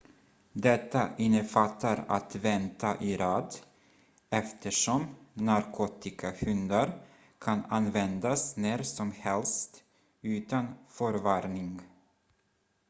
detta innefattar att vänta i rad eftersom narkotikahundar kan användas när som helst utan förvarning